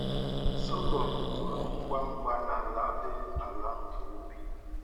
Sọgọm toro ngwa ngwa n’ala dị ala nke ubi.